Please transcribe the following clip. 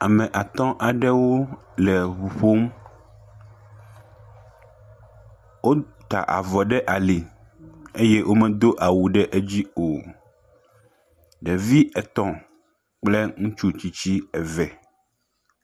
Ame atɔ aɖewo le ʋu ƒom wota avɔ ɖe ali eye womedo awu ɖe dzi o ɖevi etɔ kple ŋutsutsitsi eve